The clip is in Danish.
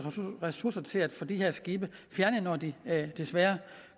ressourcer til at få de her skibe fjernet når de desværre